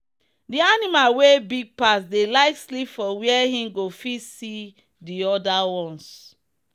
the animal wey big pass dey like sleep for where him go fit see the other ones.